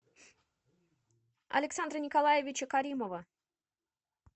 александра николаевича каримова